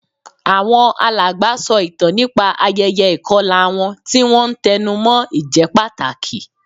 Àwọn alàgbà sọ ìtàn nípa ayẹyẹ ìkọlà wọn, tí wọ́n ń tẹnu mọ́ ìjẹ́pàtàkì